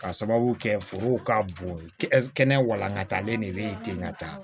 Ka sababu kɛ forow ka bon kɛnɛya walankatalen de bɛ ye ten ka taa